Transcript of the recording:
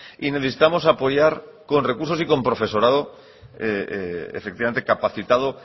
y necesitamos apoyar con recursos y profesorado efectivamente capacitado